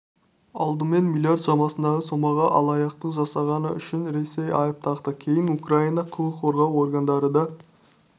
алдымен млрд шамасындағы сомаға алаяқтық жасағаны үшін ресей айып тақты кейін украина құқық қорғау органдары да